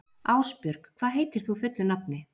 Ásbjörg, hvað heitir þú fullu nafni?